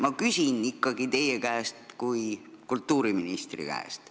Ma küsin ikkagi teie kui kultuuriministri käest.